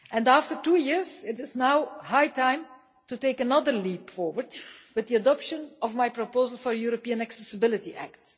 After two years, it is now high time to take another leap forward with the adoption of my proposal for a European Accessibility Act.